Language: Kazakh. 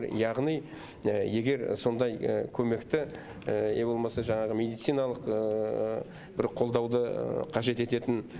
яғни егер сондай көмекті не болмаса жаңағы медициналық бір қолдауды қажет ететін